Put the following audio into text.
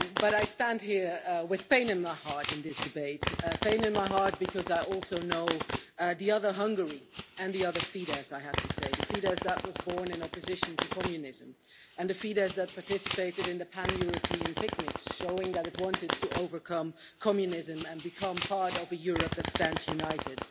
I stand here with pain in my heart in this debate, pain in my heart because I also know the other Hungary and, I have to say, the other Fidesz, the Fidesz that was born in opposition to communism and the Fidesz that participated in the pan European picnics, showing that it wanted to overcome communism and become part of a Europe that stands united.